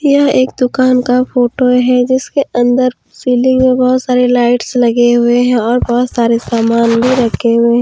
यह एक दुकान का फोटो है जिसके अंदर सीलिंग में बहोत सारे लाइट्स लगे हुए हैं और बहोत सारे सामान भी रखे हुए हैं।